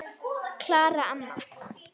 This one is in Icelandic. Klara amma.